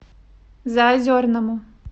заозерному